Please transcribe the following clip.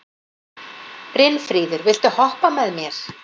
Brynfríður, viltu hoppa með mér?